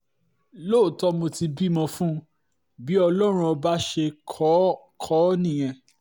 lóòótọ́ mo ti bímọ fún un bí ọlọ́run ọba ṣe kọ́ ọ kọ́ ọ nìyẹn